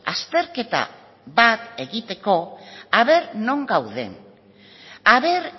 azterketa bat egiteko a ver non gauden a ver